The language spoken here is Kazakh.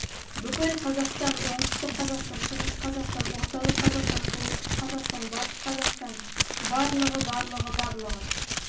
бүкіл қазақстан оңтүстік қазақстан шығыс қазақстан орталық қазақстан солтүстік қазақстан батыс қазақстан барлығы барлығы барлығы барлығы